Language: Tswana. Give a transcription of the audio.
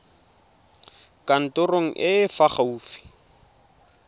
kantorong e e fa gaufi